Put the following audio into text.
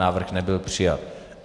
Návrh nebyl přijat.